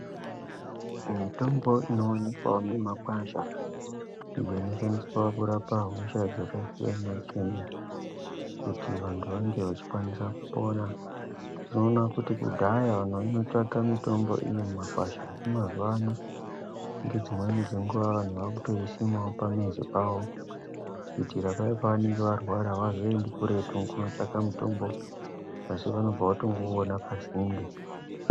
Mitombo inoonekwawo mumakwasha iyo inoshandiswa kurapa hosha dzakasiyana-siyana kuti vantu vange vachikwanisa kupona. Tinoona kuti kudhaya antu aindotsvaka mitombo iyi mumakwasha asi mazuwaano, dzimweni dzenguvwa vantu vaakutoisimawo pamizi pawo, kutira paya pavanenge varwara, avazoendi kuretu kunotsvaka mitombo asi vanobva vatongouona pasinde.